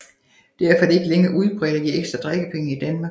Derfor er det ikke længere udbredt at give ekstra drikkepenge i Danmark